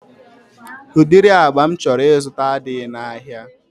Udiri agba m chọrọ ịzụta adịghị na ahịa